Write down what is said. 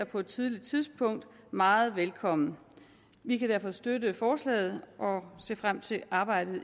på et tidligt tidspunkt meget velkommen vi kan derfor støtte forslaget og ser frem til arbejdet